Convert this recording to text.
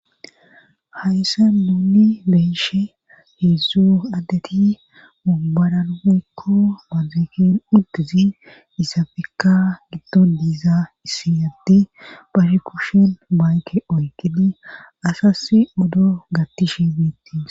Hayssa nuuni beyishe heedzdzu addeti mumbaraekko mazekin uddizi isafikka giddo diizaa issi yaddi bashe kushin baayke oykini asas odo gattishe beettis.